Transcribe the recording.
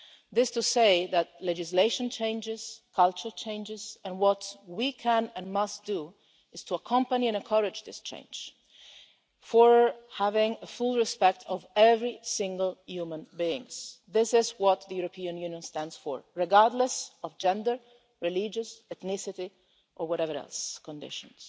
This is to say that legislation changes, culture changes, and what we can and must do is to accompany and encourage this change towards having full respect of every single human being this is what the European Union stands for regardless of gender, religious ethnicity or whatever other conditions.